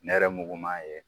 Nɛrɛmuguman ye